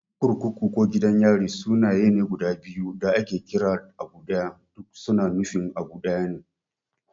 Kurkuku ko Gidan yari sunaye ne guda biyu da ake kiran abu ɗaya. Duk su na nufin abu ɗaya ne.